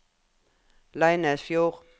Leinesfjord